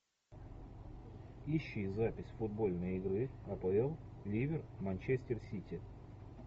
ищи запись футбольной игры апл ливер манчестер сити